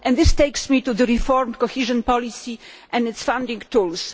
This leads me to the reformed cohesion policy and its founding tools.